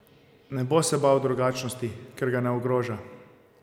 Ne bo se bal drugačnosti, ker ga ne ogroža.